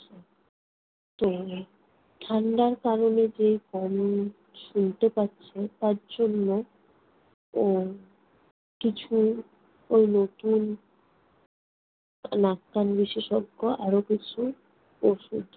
তো ঠান্ডার কারণে যে কম শুনতে পাচ্ছে তার জন্য উম কিছু ওই নতুন নাক-কান বিশেষজ্ঞ আরো কিছু ওষুধ